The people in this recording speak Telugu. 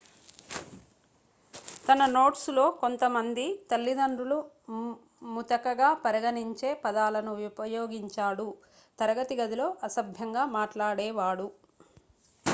తన నోట్స్ లో కొంతమంది తల్లిదండ్రులు ముతకగా పరిగణించే పదాలను ఉపయోగించాడు తరగతి గదిలో అసభ్యంగా మాట్లాడేవాడు